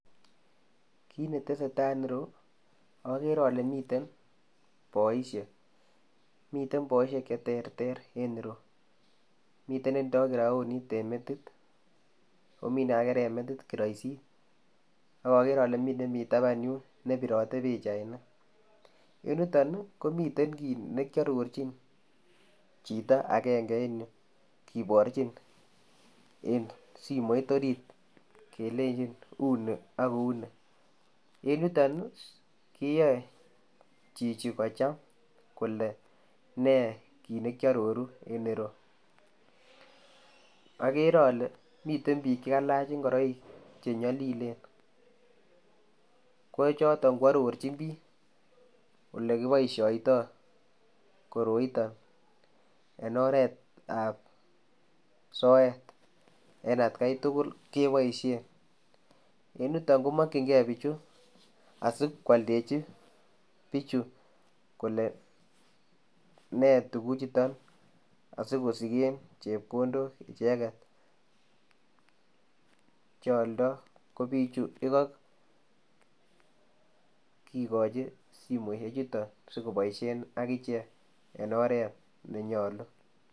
Kit ne tesetai en ireyuu agere ale miten boisiet miten boisiet che terter en ireuu miten boisiet che tindaa graoniit en metit,o Mii me kagere metit karaisi akakere ale miten nemii tabaan yuun ne biratee pichainik en yutoon ii komiteen biik chekearorjiin chitoo agenge en yu kibarjiin simoit oriit kelenjiin uu ni ako uu nii ,en yutoon ii keyai chichi kocham kole nee kiit nekyaroruu en ireyuu, agere ale miten biik che ka laach ingoraik che nyalilen ko chotoon ko arorjiin biik ole kibaishaitoi koroitaan en oret ab soet en at gai tugul, kebaisheen, en yutoon kemakyigei bichuu asikoaldejii bichuu kole nee tuguuk chutoon asikogeen chepkondook kigachiin simoisiek chutoon sikobaishen agicheek en oret ne nyaluu.